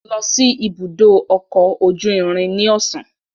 Lọ si ibudo ọkọ oju irin ni ọsan